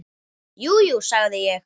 Jú, jú, sagði ég.